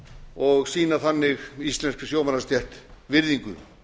og sýna þannig íslenskri sjómannastétt virðingu